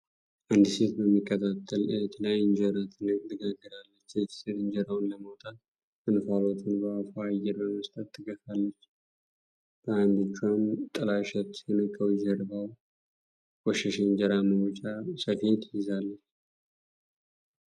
አንዲት ሴት በሚቀጣጠል እሳት ላይ እንጀራ ትጋግራለች። ይህቺ ሴት እንጀራውን ለማውጣት እንፋሎቱን በአፏ አየር በመስጠት ትገፋለች። በአንድ እጇም ጥላሸት የነካው ጀርባው የቆሸሸ የእንጀራ ማውጫ ስፌድ ይዛለች።